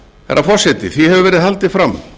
herra forseti því hefur verið haldið fram